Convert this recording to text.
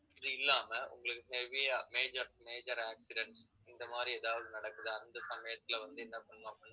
இது இல்லாம உங்களுக்கு heavy ஆ major, major accidents இந்த மாதிரி ஏதாவது நடக்குதா அந்த சமயத்துல வந்து என்ன பண்ணணும் அப்படின்னா